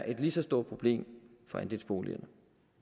et lige så stort problem for andelsboligerne